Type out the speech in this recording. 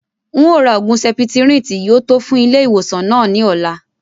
N o rà oògùn septrin tí yìí ó tò fún ilé ìwòsàn náà ni ọ̀la